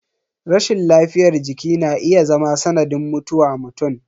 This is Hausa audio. Rashin lafiyar jiki na iya zama sanadin mutuwa mutum.